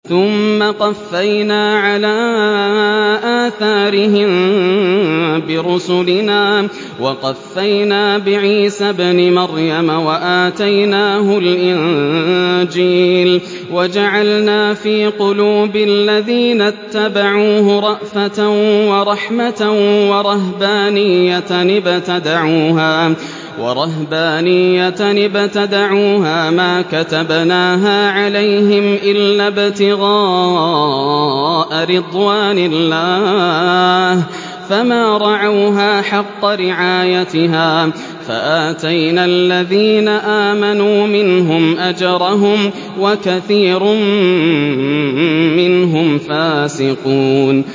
ثُمَّ قَفَّيْنَا عَلَىٰ آثَارِهِم بِرُسُلِنَا وَقَفَّيْنَا بِعِيسَى ابْنِ مَرْيَمَ وَآتَيْنَاهُ الْإِنجِيلَ وَجَعَلْنَا فِي قُلُوبِ الَّذِينَ اتَّبَعُوهُ رَأْفَةً وَرَحْمَةً وَرَهْبَانِيَّةً ابْتَدَعُوهَا مَا كَتَبْنَاهَا عَلَيْهِمْ إِلَّا ابْتِغَاءَ رِضْوَانِ اللَّهِ فَمَا رَعَوْهَا حَقَّ رِعَايَتِهَا ۖ فَآتَيْنَا الَّذِينَ آمَنُوا مِنْهُمْ أَجْرَهُمْ ۖ وَكَثِيرٌ مِّنْهُمْ فَاسِقُونَ